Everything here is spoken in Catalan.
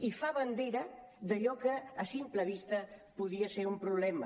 i fa bandera d’allò que a simple vista podia ser un problema